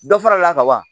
Dɔ farala kaban